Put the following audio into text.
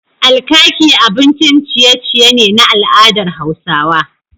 Alkaki abincin ciye ciye ne na al'adar Hausawa